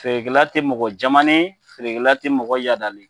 Feerekɛla te mɔgɔ jamanen ye Feerekɛla te mɔgɔ yadalen ye